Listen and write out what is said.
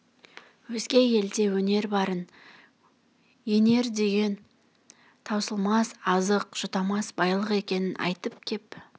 өзге елде өнер барын енер деген таусылмас азық жұтамас байлық екенін айтып кеп